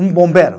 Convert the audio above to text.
Um bombeiro.